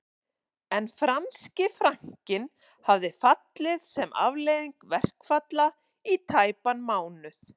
En franski frankinn hafði fallið sem afleiðing verkfalla í tæpan mánuð